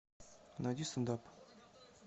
найди стэнд ап